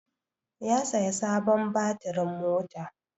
Ya saya sabon batirin mota.